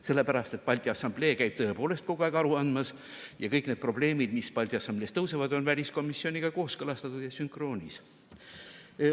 Sellepärast et Balti Assamblee käib tõepoolest kogu aeg aru andmas ja kõik need probleemid, mis Balti Assamblees tõusevad, on väliskomisjoniga kooskõlastatud ja sünkroonis.